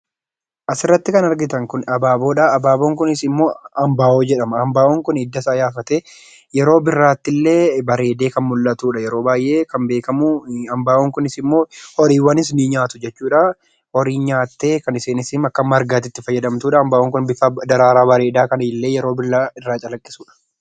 Asirratti kan argitan kun abaaboodha. Abaaboon kunis immoo ambaawoo jedhama. Ambaawoon kun hiddasaa yaafatee bareedee kan mul'atudha yeroo baay'ee kan beekamu. Ambaawoon kunis immoo horiiwwanis ni nyaatu jechuudha. Horiin nyaattee kan ishee akka margaatti itti fayyadamtudha. Ambaawoon kun bifa daraaraa bareedaa kan yeroo maraa calaqqisudha.